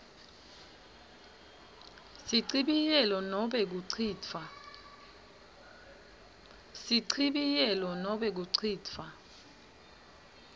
sichibiyelo nobe kucitfwa